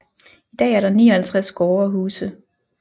I dag er der 59 gårde og huse